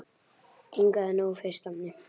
Inga hafði nóg fyrir stafni.